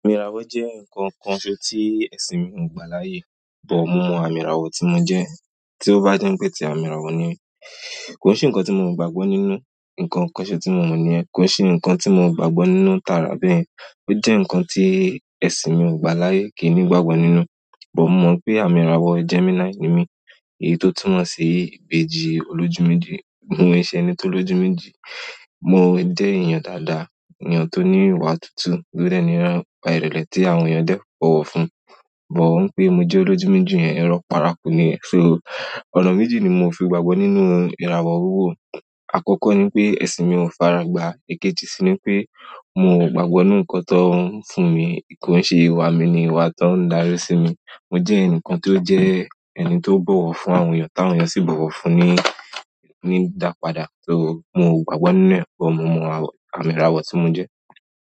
Àmì ìràwọ̀ jẹ́ nǹkan kan ṣe tí ẹ̀sìn mi ò gbà láyè, but mo mọ àmì ìràwọ̀ tí mo jẹ́. Tí ó bá jẹ́ ń pé ti àmì ìràwọ̀ ni, kò sí nǹkan tí mo mọ̀ gbàgbọ́ nínú, nǹkan kan ṣe tí mo mọ̀ ni ẹ́, kò sí nǹkan tí mo mọ̀ gbàgbọ́ nínú tààrà bẹ́ẹ̀. Ó jẹ́ nǹkan tí ẹ̀sìn mi ò gbà láyè kì í ní gbàgbọ́ nínú. But mo mọ̀ pé àmì ìràwọ̀ Gemini ni mí, èyí tó túnmọ̀ sí ìbejì olójúmẹ́jì, mo ń ṣe ẹni tó lójúmẹ́jì. Mo jẹ́ èèyàn dáadáa, èèyàn tó ní ìwà tútù, todẹ̀ ní ìwà ìrẹ̀lẹ̀ tí àwọn èèyàn dẹ́ẹ̀ bọ̀wọ̀ fún, but ó ń pé mo jẹ́ olójúmẹ́jì yẹn, ẹ́ rọ̀, parapọ̀ ni ẹ́. So, ọ̀nà méjì ni mo fi gbàgbọ́ nínú ìràwọ̀ wiwó. Àkọ́kọ́ ni pé ẹ̀sìn mi ò faragbà, èkejì sì ni pé mo ò gbàgbọ́ nínú nǹkan tó ń fún mi. Kò ń ṣe ìwà mi ni ìwà tó ń darí sí mi. Mo jẹ́ ẹnìkan tó jẹ́ ẹni tó bọ̀wọ̀ fún àwọn èèyàn tí àwọn èèyàn sì bọ̀wọ̀ fún ni, ni dápadà, so mo ò gbàgbọ́ nínú ẹ̀, but mo mọ àmì ìràwọ̀ tí mo jẹ́.